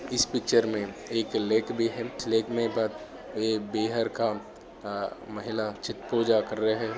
इस पिक्चर मे एक लेक भी है इस लेक मे बा एक बिहार का आ महिला आ छट पूजा क्र रहे है।